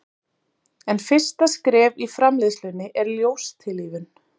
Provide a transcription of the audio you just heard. En fyrsta skref í framleiðslunni er ljóstillífun.